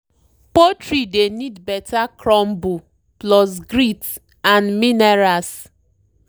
poultry dey need better crumble plus grit and minerals.